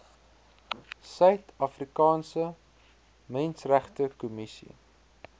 suid afrikaanse menseregtekommissie